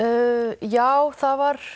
já það var